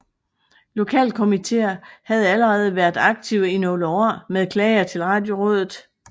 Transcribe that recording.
Lokalkomitéer havde allerede været aktive i nogle år med klager til Radiorådet